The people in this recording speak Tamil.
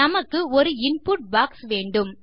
நமக்கு ஒரு இன்புட் பாக்ஸ் வேண்டும்